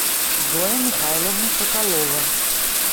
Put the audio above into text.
зоя михайловна соколова